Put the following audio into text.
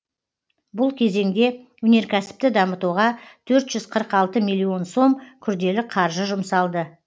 бұл кезеңде өнеркәсіпті дамытуға төрт жүз қырық алты миллион сом күрделі қаржы жұмсалды